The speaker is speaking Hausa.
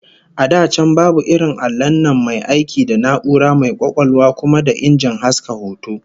A da can babu irin allon nan mai aiki da na'ura mai kwakwalwa kuma da injin haska hoto